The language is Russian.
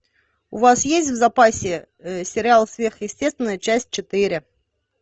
у вас есть в запасе сериал сверхъестественное часть четыре